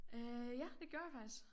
Øh ja det gjorde jeg faktisk